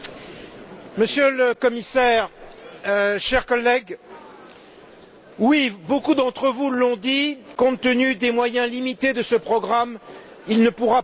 Monsieur le Commissaire, chers collègues, oui, beaucoup d'entre vous l'ont dit, compte tenu des moyens limités de ce programme, il ne pourra pas tout.